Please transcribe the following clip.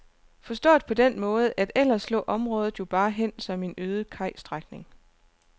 Forstået på den måde, at ellers lå området jo bare hen som en øde kajstrækning.